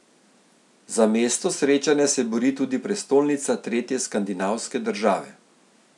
Za mesto srečanja se bori tudi prestolnica tretje skandinavske države.